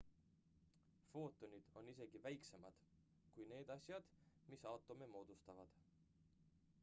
footonid on isegi väiksemad kui need asjad mis aatome moodustavad